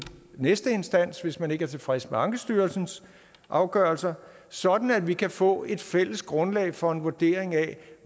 næste instans hvis man ikke er tilfreds med ankestyrelsens afgørelser sådan at vi kan få et fælles grundlag for en vurdering af